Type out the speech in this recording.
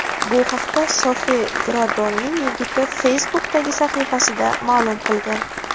Bu haqda Sofi Gradonning yigiti Facebook’dagi sahifasida ma’lum qilgan.